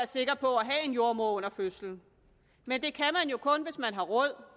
sikre på at have en jordemoder under fødslen men det kan man jo kun hvis man har råd